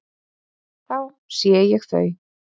Þá sé ég þau.